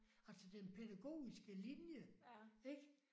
Altså den pædagogiske linje ik?